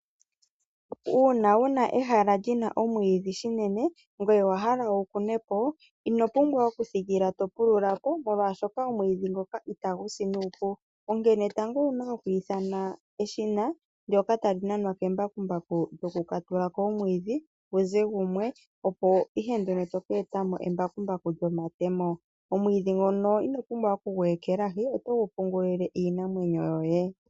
Uuna wuna ehala lyina omwiidhi shinene ngweye wa hala wu kune po, ino pumbwa okuthikila to pulula po molwaashoka omwiidhi ngoka itagu si nuupu onkene tango owuna oku ithana eshina ndyoka tali nanwa kembakumbaku lyokukatula po omwiidhi pu ze gumwe, opo ihe nduno toka eta mo embakumbaku lyomatemo. Omwiidhi ngono ino pumbwa oku gu ekelahi, oto gu pungulile iinamwenyo yoye.